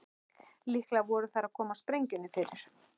Líklega voru þær að koma sprengjunni fyrir.